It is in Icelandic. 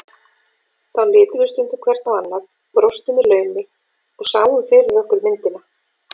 Þá litum við stundum hvert á annað, brostum í laumi og sáum fyrir okkur myndina.